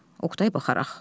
Oqtay baxaraq.